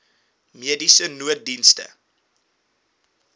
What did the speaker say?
mediese nooddienste